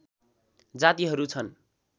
जातिहरू छन्